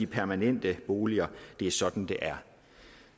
permanente boliger det er sådan det er